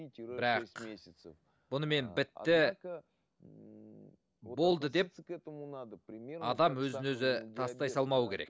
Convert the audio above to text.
бірақ бұнымен бітті ммм болды деп адам өзін өзі тастай салмау керек